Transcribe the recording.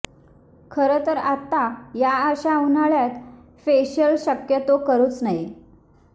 खरं तर आत्ता या अशा उन्हाळ्यात फेशियल शक्यतो करुच नये